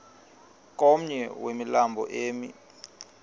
komnye wemilambo emi